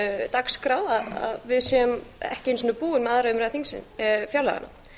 dagskrá að við séum ekki einu sinni búin með annarri umræðu fjárlaganna